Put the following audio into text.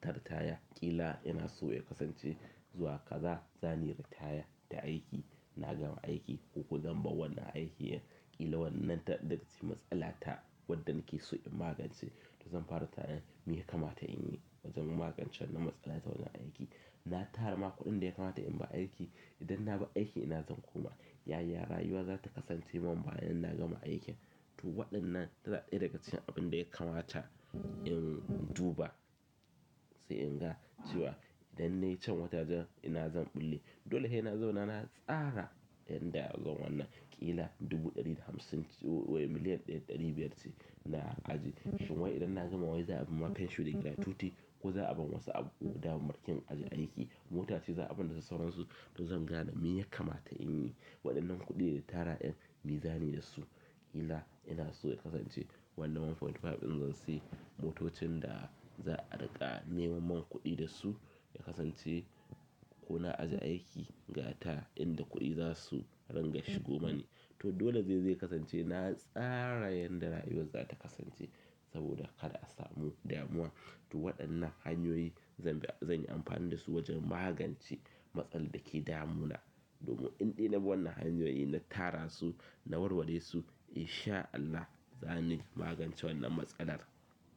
ta ritaya. Ƙila ina so ya kasance zuwa kaza zan yi ritaya ta aiki. Na gama aiki ko ko zan bar wannan aiki. Ƙila wannan ta daga cikin matsala ta waɗanda ke so in magance. To zan fara tunin me ya kamata inyi wajen magance wannan matsala ta wajen aiki na tara ma kuɗin da ya kamata in bar aiki. Idan na bar aiki ina zan koma? Yaya rayuwa za ta kasance man bayan na gama aikin? To waɗannan tana ɗaya daga cikin abunda ya kamata in duba sai in ga cewa idan ne can wata jan ina zan bulle. Dole he na zauna na tsara yadda za wannan. Ƙila dubu ɗari da hamsin ko miliyan ɗaya ɗari biyar ce na ajiye. Shin wai idan na gama wai za a bani pension da gratuity ko za a bani wasu abu da ake yi a aiki. Motace za a bani da sauransu. To zan gane me ya kamata in yi. Waɗannan kuɗi da tara en, me zani da su? Ƙila ina so ya kasance wannan ɗaya da digo biyar in zan sayi motocin da za a riƙa neman min kuɗi da su. Ya kasance ko na ajiye aiki, ga ta inda kuɗi za su ranga shigo mani to dole zai, zai kasance na tsara yadda rayuwar za ta kasance saboda kada a samu damuwa. To waɗannan hanyoyi zanyi anfani dasu wajen magance matsalan dake damu na domin indai nabi wannan hanyoyi na tara su, na warware su, in sha Allah, zan yi magance wannan matsalar.